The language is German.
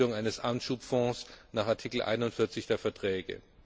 zur Bildung eines Anschubfonds nach Artikel 41 der Verträge.